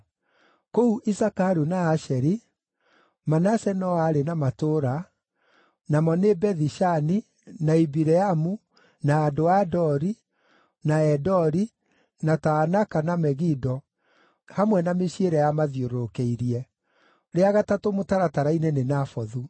Kũu Isakaru na Asheri, Manase no aarĩ na matũũra, namo nĩ Bethi-Shani, na Ibileamu, na andũ a Dori, na Endori, na Taanaka na Megido, hamwe na mĩciĩ ĩrĩa yamathiũrũrũkĩirie (rĩa gatatũ mũtaratara-inĩ nĩ Nafothu).